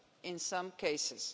in some cases.